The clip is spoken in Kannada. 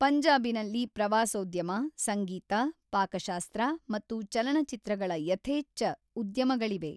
ಪಂಜಾಬಿನಲ್ಲಿ ಪ್ರವಾಸೋದ್ಯಮ, ಸಂಗೀತ, ಪಾಕಶಾಸ್ತ್ರ ಮತ್ತು ಚಲನಚಿತ್ರಗಳ ಯಥೇಚ್ಫ ಉದ್ಯಮಗಳಿವೆ.